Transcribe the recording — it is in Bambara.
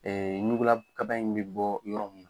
nugula kaba in bɛ bɔ yɔrɔ mun na.